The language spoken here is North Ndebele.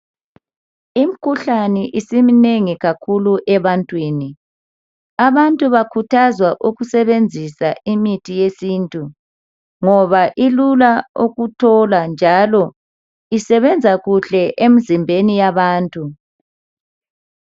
Imikhuhlane isiminengi kakhulu ebantwini. Abantu bakhuthazwa ukusebenzisa imithi yesintu ngoba ilula ukuthola njalo isebenza kuhle emzimbeni yabantu.